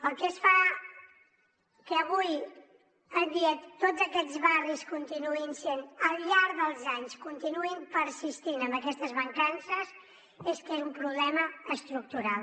el que fa que avui en dia tots aquests barris al llarg dels anys continuïn persistint amb aquestes mancances és que és un problema estructural